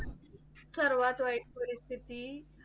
सर्वात वाईट परिस्थिती